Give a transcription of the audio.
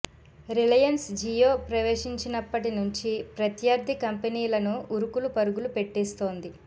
Reliance Jio ప్రవేశించినప్పటి నుంచి ప్రత్యర్థి కంపెనీలను ఉరుకులు పరుగులు పెట్టిస్తోంది